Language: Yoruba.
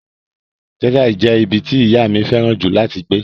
Texas jẹ́ ibi tí ìyá mi fẹ́ràn jù láti gbé.